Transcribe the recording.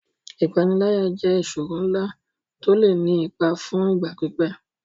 Ìpániláyà jẹ́ ìṣòro ńlá tó lè ní ipa fún ìgbà pípẹ́.